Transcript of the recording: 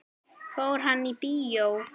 Fór hann í bíó?